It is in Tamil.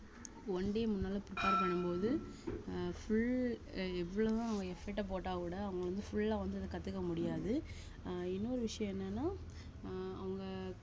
one day முன்னால prepare பண்ணும் போது ஆஹ் full அஹ் எவ்வளவு தான் effort அ போட்டா கூட அவுங்க வந்து full ஆ வந்து இத கத்துக்க முடியாது ஆஹ் இன்னொரு விஷயம் என்னன்னா ஆஹ் அவுங்க